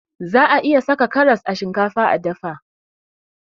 Za'a iya saka karas a shinkafa a dafa.